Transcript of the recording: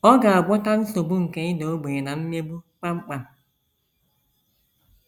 Ọ ga - agwọta nsogbu nke ịda ogbenye na mmegbu kpam kpam.